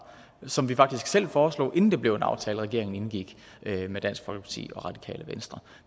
som vi faktisk selv foreslog inden det blev en aftale regeringen indgik med dansk folkeparti og radikale venstre